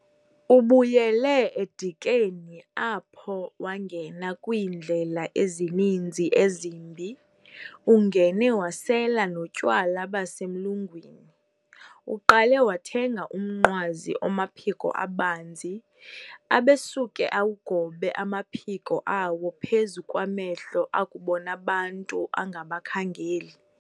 Ubuyile eDikeni apho wangena kwiindlela ezininzi ezimbi, ungene wasela notywala basemlungwini. Uqale wathenga umnqwazi omaphiko abanzi, abesuke awugobe amaphiko awo phezu kwamehlo akubon'abantu, angabakhangeli.